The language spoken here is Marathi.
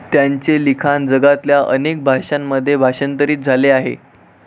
त्यांचे लिखाण जगातल्या अनेक भाषांमध्ये भाषांतरित झाले आहे.